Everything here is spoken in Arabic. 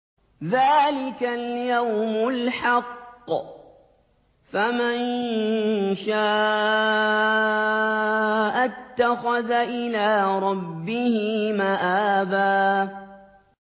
ذَٰلِكَ الْيَوْمُ الْحَقُّ ۖ فَمَن شَاءَ اتَّخَذَ إِلَىٰ رَبِّهِ مَآبًا